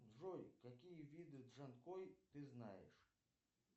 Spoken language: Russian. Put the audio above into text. джой какие виды джанкой ты знаешь